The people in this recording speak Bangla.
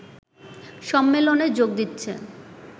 সম্মেলনে যোগ দিচ্ছে